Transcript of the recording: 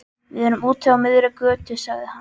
Við erum úti á miðri götu, sagði hann.